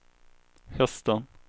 hästen